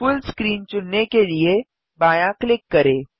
full screen चुनने के लिए बायाँ क्लिक करें